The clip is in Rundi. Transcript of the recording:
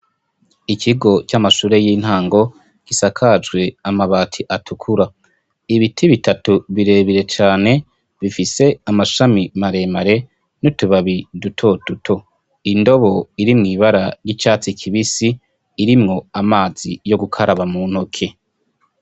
Ikigo c'amashure y'intango kisakajwe amabati atukura, ibiti bitatu birebire cane bifise amashami maremare nutubabi duto duto, indobo iri mw'ibara ry'icatsi kibisi irimwo amazi yo gukaraba mu ntoke.